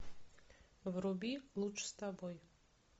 вруби лучше с тобой